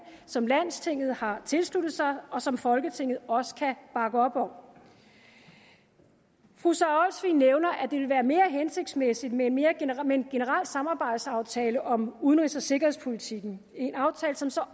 som landstinget har tilsluttet sig og som folketinget også kan bakke op om fru sara olsvig nævner at det vil være mere hensigtsmæssigt med en med en generel samarbejdsaftale om udenrigs og sikkerhedspolitikken en aftale som så